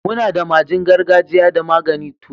mu na da magin gargajia da magani turawa.